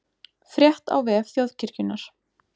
Frétt á vef Þjóðkirkjunnar